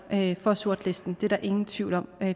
for sortlistning det er der ingen tvivl om